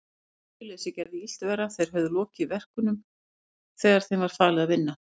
Iðjuleysið gerði illt verra, þeir höfðu lokið verkunum sem þeim var falið að vinna.